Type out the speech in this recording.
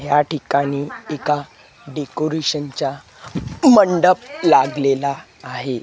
या ठिकाणी एका डेकोरेशन चा मंडप लागलेला आहे.